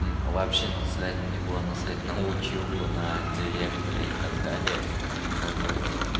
вообще насрать мне было насрать на училку на директора и так далее как бы